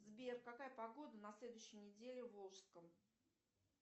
сбер какая погода на следующей неделе в волжском